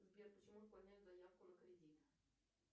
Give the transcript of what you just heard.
сбер почему отклоняют заявку на кредит